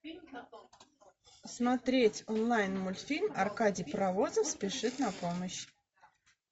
смотреть онлайн мультфильм аркадий паровозов спешит на помощь